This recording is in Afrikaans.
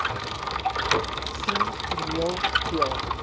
sien toneel speel